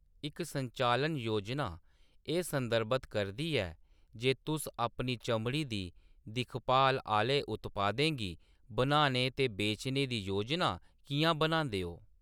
इक संचालन योजना एह् संदर्भत करदी ऐ जे तुस अपनी चमड़ी दी दिक्खभाल आह्‌ले उत्पादें गी बनाने ते बेचने दी योजना कि’यां बनांदे ओ।